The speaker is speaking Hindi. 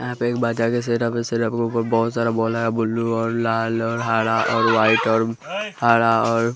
यहां पे एक बाजार जैसे बहुत सारा बॉल है ब्ल्यू और लाल और हरा और वाइट और हरा और--